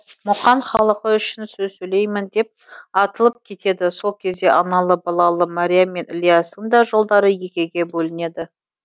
мұқан халқы үшін сөз сөйлеймін деп атылып кетеді сол кезде аналы балалы мәриям мен ілиястың да жолдары екіге бөлінеді